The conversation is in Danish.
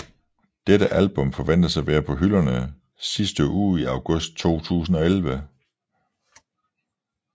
Dette album forventes at være på hylderne sidste uge i august 2011